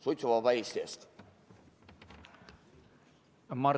Suitsuvaba Eesti eest!